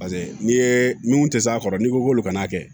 Paseke n'i ye minnu tɛ s'a kɔrɔ n'i ko k'olu kana kɛ